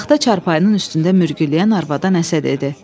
Taxta çarpayının üstündə mürgüləyən arvadan nə isə dedi.